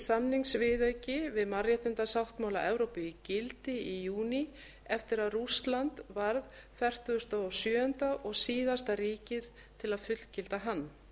samningsviðauki við mannréttindasáttmála evrópu í gildi í júní eftir að rússland varð fertugasta og sjöunda og síðasta ríkið til að fullgilda hann